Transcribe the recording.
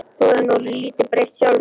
Þú hefur nú lítið breyst sjálfur.